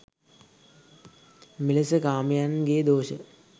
මෙලෙස කාමයන්ගේ දෝෂ